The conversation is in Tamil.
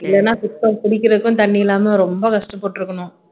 இல்லேன்னா சுத்தம் குடிக்கிறதுக்கும் தண்ணி இல்லாம ரொம்ப கஷ்டப்பட்டு இருக்கணும்